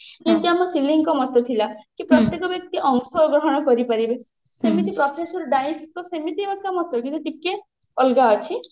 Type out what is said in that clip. ଯେମତି ଆମ ସିଲିଙ୍କ ମତ ଥିଲା କି ପ୍ରତ୍ୟକ ବ୍ୟକ୍ତି ଅଂଶ ଗ୍ରହଣ କରିପାରିବେ ସେମିତି professor ଡାଇସ ଙ୍କ ସେମିତି ଏକ ମତ କିନ୍ତୁ ଟିକେ ଅଲଗା ଅଛି